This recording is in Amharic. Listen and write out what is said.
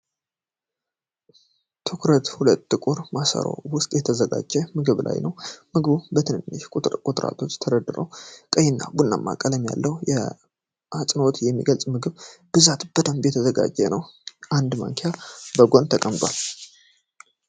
ትኩረቱ ሁሉ ጥቁር ማሰሮ ውስጥ በተዘጋጀው ምግብ ላይ ነው። ምግቡ በትንንሽ ቁርጥራጮች ተደርድሮ ቀይና ቡናማ ቀለም አለው። በአጽንዖት የሚገለጸው የምግቡ ብዛትና በደንብ መዘጋጀቱ ነው። አንድ ማንኪያ በጎን ተቀምጧል።